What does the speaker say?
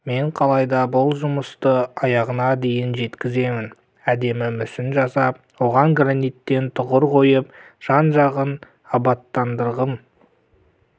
мен қалайда бұл жұмысты аяғына дейін жеткіземін әдемі мүсін жасап оған граниттен тұғыр қойып жан-жағын абаттандырғым